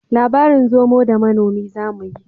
Labarin zomo da manomi zamuyi